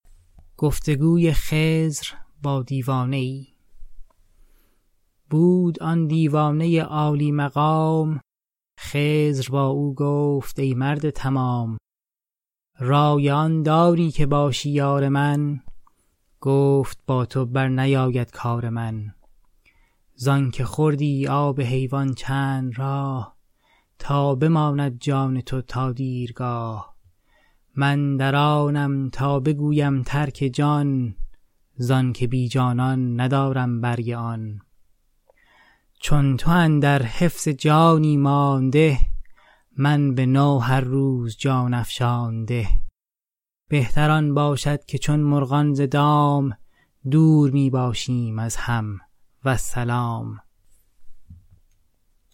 بود آن دیوانه عالی مقام خضر با او گفت ای مرد تمام رای آن داری که باشی یار من گفت با تو برنیاید کار من زآنک خوردی آب حیوان چند راه تا بماند جان تو تا دیرگاه من در آنم تا بگویم ترک جان زآنک بی جانان ندارم برگ آن چون تو اندر حفظ جانی مانده من به تو هر روز جان افشانده بهتر آن باشد که چون مرغان ز دام دور می باشیم از هم والسلام